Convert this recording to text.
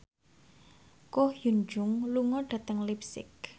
Ko Hyun Jung lunga dhateng leipzig